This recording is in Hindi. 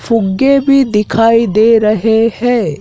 फुग्गे भी दिखाई दे रहे हैं।